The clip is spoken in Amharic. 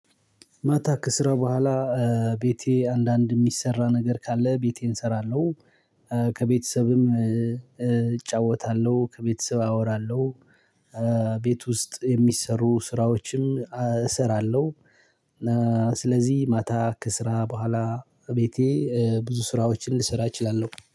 ማታ ከስራ በኋላ ቤቴ አንዳንድ እሚሰራ ነገር ካለ ቤቴን እሰራለሁ። ከቤተሰብም እጫወታለሁ ከቤተሰብ አወራለሁ። ቤት ውስጥ የሚሰሩ ስራዎችም እሰራለሁ። ስለዚህ ማታ ከስራ በኋላ ቤቴ ብዙ ስራዎችን ልሰራ እችላለሁ